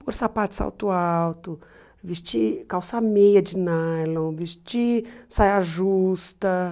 Por sapato salto alto, vestir calça meia de nylon, vestir saia justa.